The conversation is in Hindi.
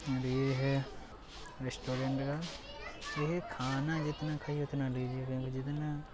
और ये है एक रेस्टोरंट है ऐ खाना जितना कहे जितना --